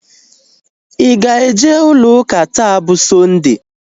Ị ga-eje ụlọ ụka taa bụ Sọnde?